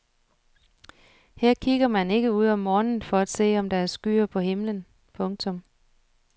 Her kigger man ikke ud om morgenen for at se om der er skyer på himlen. punktum